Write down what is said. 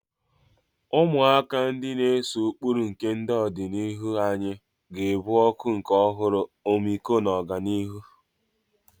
Ụmụaka, ndị na-ese ụkpụrụ nke ọdịnihu anyị, ga-ebu ọkụ nke ọhụrụ, ọmịiko na ọganihu.